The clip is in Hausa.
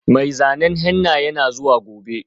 Mai zanen henna yana zuwa gobe.